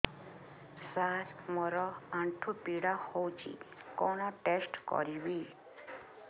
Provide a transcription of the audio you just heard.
ସାର ମୋର ଆଣ୍ଠୁ ପୀଡା ହଉଚି କଣ ଟେଷ୍ଟ କରିବି